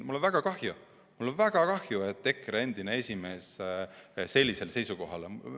Mul on väga kahju, et EKRE endine esimees sellisel seisukohal on.